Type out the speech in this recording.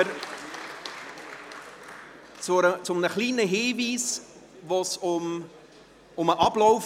Wir kommen zu einem kleinen Hinweis betreffend den Ablauf.